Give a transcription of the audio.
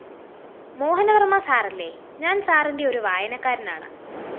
മോഹനവര്‍മ്മ സാറല്ലേ? ഞാന്‍ സാറിന്റെ ഒരു വായനക്കാരനാണ്